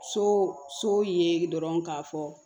So so ye dɔrɔn k'a fɔ